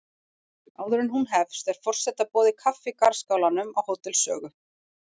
Áður en hún hefst er forseta boðið kaffi í garðskálanum á Hótel Sögu.